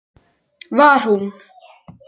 Var hún?!